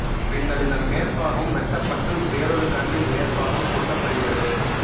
பின்னர் இதன் மேற்பாகம் வெட்டப்பட்டு வேறொரு கன்றின் மேற்பாகம் ஒட்டப்படுகிறது